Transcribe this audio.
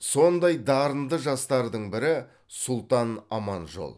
сондай дарынды жастардың бірі сұлтан аманжол